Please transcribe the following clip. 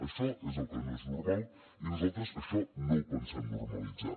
això és el que no és normal i nosaltres això no ho pensem normalitzar